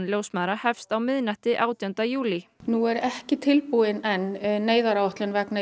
ljósmæðra hefst á miðnætti átjánda júlí nú er ekki tilbúin enn neyðaráætlun vegna